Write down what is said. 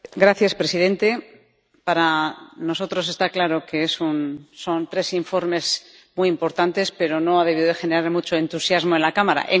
Señor presidente, para nosotros está claro que son tres informes muy importantes, pero no han debido de generar mucho entusiasmo en la Cámara.